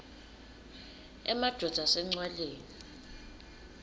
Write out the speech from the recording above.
emadvodza ase ncwaleni